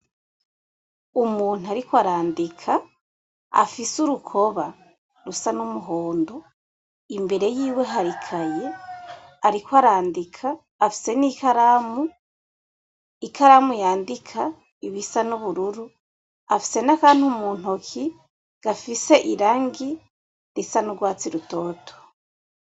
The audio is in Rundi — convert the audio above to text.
Umuntu ariko arandika afise urukoba rusa n'umuhondo, imbere yiwe hari ikaye ariko arandika , afise n'ikaramu, ikaramu yandika ibisa n'ubururu, afise n'akantu mu ntoki gafise irangi risa n'urwatsi rutoto.